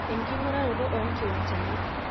enkinguraroto oo nkiwanchani